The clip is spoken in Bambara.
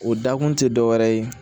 O dakun ti dɔwɛrɛ ye